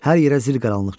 Hər yerə zil qaranlıq çökdü.